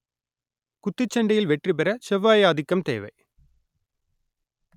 குத்துச்சண்டையில் வெற்றி பெற செவ்வாய் ஆதிக்கம் தேவை